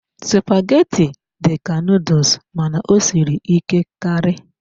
Spaghetti dị ka noodles mana ọ siri ike karị.